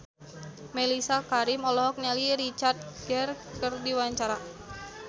Mellisa Karim olohok ningali Richard Gere keur diwawancara